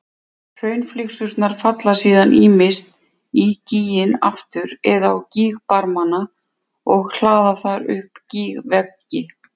Hraunflygsurnar falla síðan ýmist í gíginn aftur eða á gígbarmana og hlaða þar upp gígveggi.